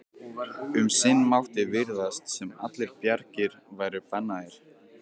Um sinn mátti virðast sem allar bjargir væru bannaðar.